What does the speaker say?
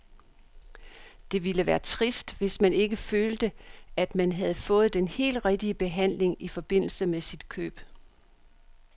Det ville være trist, hvis man ikke følte, at man havde fået den helt rigtige behandling i forbindelse med sit køb.